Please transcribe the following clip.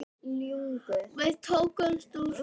Tökum Ísland fyrst.